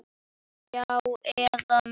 Já, eða mig?